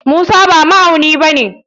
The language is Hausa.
Musa ba ma'auni bane.